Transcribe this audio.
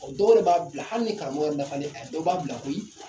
O dɔw yɛrɛ b'a bila hali ni karamɔgɔw yɛrɛ dafalen dɔw b'a bila koyi.